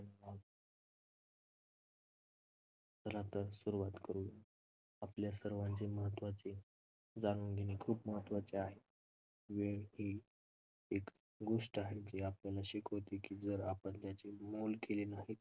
चला तर सुरुवात करू. आपल्या सर्वांचे महत्त्वाचे जाणून घेणे खूप महत्त्वाचे आहे. वेळ ही एक गोष्ट आहे जी आपल्याला शिकवते की जर आपण त्याचे मोल केले नाहीत